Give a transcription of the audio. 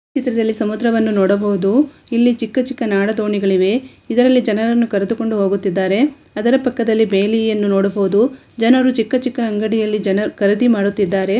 ಈ ಚಿತ್ರದಲ್ಲಿ ಸಮುದ್ರವನ್ನು ನೋಡಬಹುದು ಇಲ್ಲಿ ಚಿಕ್ಕ ಚಿಕ್ಕ ನಾಡ ದೋಣಿಗಳು ಇವೆ ಇದ್ರಲ್ಲಿ ಜನರನ್ನು ಕರೆದುಕೊಂಡು ಹೋಗುತ್ತಿದ್ದಾರೆ ಅದರ ಪಕ್ಕದಲ್ಲಿ ಬೇಲಿಯನ್ನು ನೋಡಬಹುದು ಜನರು ಚಿಕ್ಕ ಚಿಕ್ಕ ಅಂಗಡಿಯಲ್ಲಿ ಜನ ಖರೀದಿ ಮಾಡುತ್ತಿದ್ದಾರೆ.